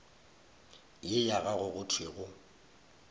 ye ya gago go thwego